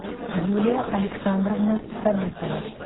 юлия александровна сабитова